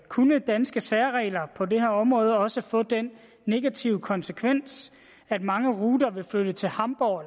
kunne danske særregler på det her område også få den negative konsekvens at mange ruter ville flytte til hamborg